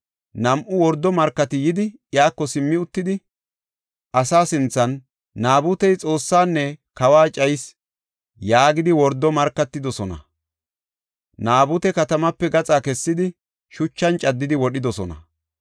Nam7u wordo markati yidi, iyako simmi uttidi, asaa sinthan, “Naabutey Xoossaanne kawa cayis” yaagidi wordo markatidosona. Naabute katamaape gaxa kessidi, shuchan caddidi wodhidosona.